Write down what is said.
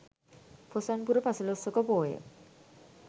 පොසොන් පුර පසළොස්වක පෝය